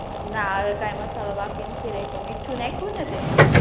ના હવે કાઇ મસાલો બાકી નથી રાખ્યો મીઠું નાખ્યું ને તે